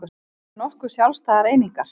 Þau eru nokkuð sjálfstæðar einingar